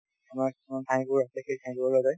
তোমাৰ কিছূমান ঠাই আছে সেই ঠাই বোৰলে যায়